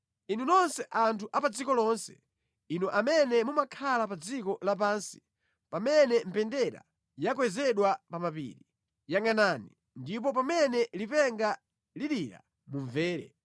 Inu nonse anthu a pa dziko lonse, inu amene mumakhala pa dziko lapansi, pamene mbendera yakwezedwa pa mapiri yangʼanani, ndipo pamene lipenga lilira mumvere.